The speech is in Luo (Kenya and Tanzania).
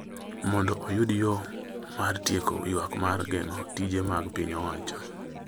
mondo oyud yo mar tieko ywak mar geng’o tije mag piny owacho.